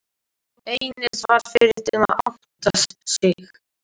Heinz varð fyrri til að átta sig.